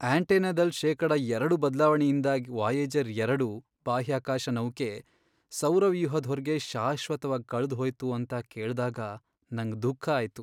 ಆಂಟೆನಾದಲ್ ಶೇಕಡ ಎರಡು ಬದ್ಲಾವಣೆಯಿಂದಾಗ್ ವಾಯೇಜರ್, ಎರಡು, ಬಾಹ್ಯಾಕಾಶ ನೌಕೆ ಸೌರವ್ಯೂಹದ್ ಹೊರ್ಗೆ ಶಾಶ್ವತವಾಗ್ ಕಳ್ದ್ ಹೋಯ್ತು ಅಂತ ಕೇಳ್ದಾಗ ನಂಗ್ ದುಃಖ ಆಯ್ತು.